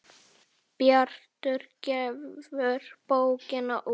Bjartur gefur bókina út.